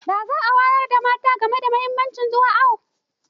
Za a wayar da kan mata game da muhimmancin zuwa awo.